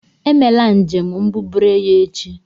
Emela njem mbubreyo echi.